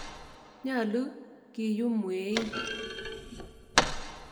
Nyalu keyum mweik.